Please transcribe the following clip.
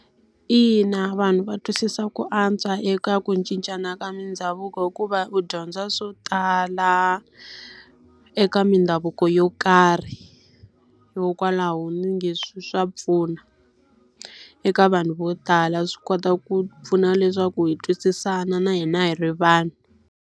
Ina vanhu va twisisa ku antswa eka ku cincana ka mindhavuko hikuva u dyondza swo tala, eka mindhavuko yo karhi. Hikokwalaho ndzi nge swa pfuna eka vanhu vo tala. Swi kota ku pfuna leswaku hi twisisana na hina hi ri vanhu.